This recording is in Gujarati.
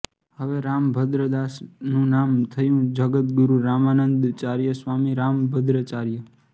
હવે રામભદ્રદાસ નું નામ થયુ જગદ્ગુરુ રામાનન્દાચાર્ય સ્વામી રામભદ્રાચાર્ય